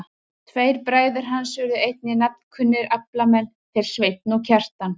Tveir bræður hans urðu einnig nafnkunnir aflamenn, þeir Sveinn og Kjartan.